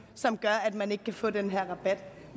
som gør at man ikke kan få den her rabat